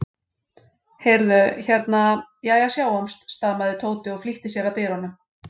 Heyrðu. hérna. jæja, sjáumst stamaði Tóti og flýtti sér að dyrunum.